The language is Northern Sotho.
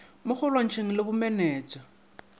mo go lwantshaneng le bomenetsa